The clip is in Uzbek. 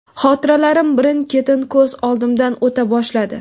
Hotiralarim birin-ketin ko‘z oldimdan o‘ta boshladi.